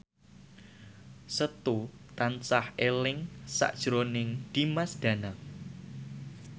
Setu tansah eling sakjroning Dimas Danang